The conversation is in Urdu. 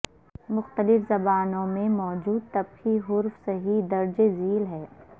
مختلف زبانوں میں موجود طبقی حروف صحیح درج زیل ہیں